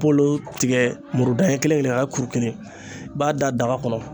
Bolo tigɛ muru da ɲɛn kelen kelen k'a kɛ kuru kelen i b'a da daga kɔnɔ